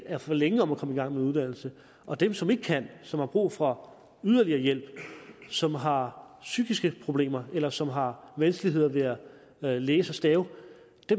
er for længe om at komme i gang med en uddannelse og dem som ikke kan som har brug for yderligere hjælp som har psykiske problemer eller som har vanskeligheder ved at læse og stave